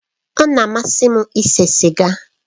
Ọ na-amasị m ise siga